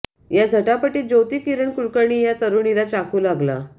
या झटापटीत ज्योती किरण कुलकर्णी या तरुणीला चाकू लागला